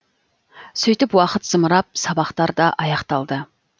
сөйтіп уақыт зымырап сабақтар да аяқталды